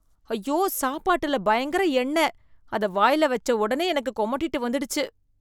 ஐயோ, சாப்பாட்டுல பயங்கர எண்ணெய், அத வாய்ல வச்ச ஒடனே எனக்கு கொமட்டிட்டு வந்துடுச்சு.